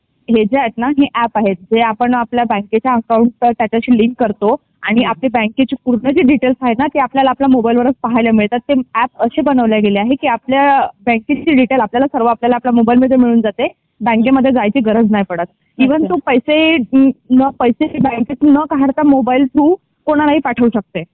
हे जे आहेत ना हे अँप आहे हे आपण आपल्या बँकेचे अकाउंट आहे ना ते त्याच्याशी लिंक करतो आणि आपली बँकेची पूर्ण जी डिटेल आहे ना ते आपल्यला मोबाइलला वरचा पाहायला मिळतात ते अँप अशे बनवल्या गेले आहे कि आपल्या बँकेची डिटेल सर्व आपल्यला ला आपल्या मोबाइल वर मिळून जाते बँके मध्ये जायची गरज नाही पडत इव्हन तू पैसे ना पैसे बँकेमधून ना काढता तू मोबाइलला मधून कोणाला ही पाठवू शकते.